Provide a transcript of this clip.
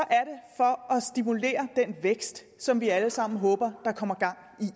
er stimulere den vækst som vi alle sammen håber der kommer gang i